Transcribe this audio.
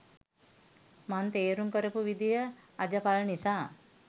මං තේරුම් කරපු විදිහ අජපල් නිසා